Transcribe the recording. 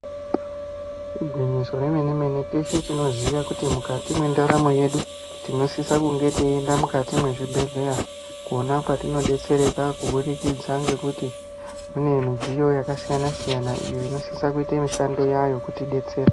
Igwinyiso remene mene teshe tinoziya kuti mukati mwendaromo yedu tinosisa kunge teienda mukati mezvibhedhlera pona patinobetsereka kubudikidza ngekuti kune midziyo yakasiyana siyana inosisa kuita mishando yayo yekutibetsera.